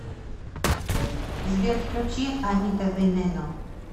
сбер включи анита венено